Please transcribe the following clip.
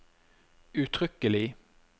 uttrykkelig